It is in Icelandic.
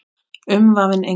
Umvafin englum.